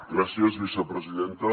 gràcies vicepresidenta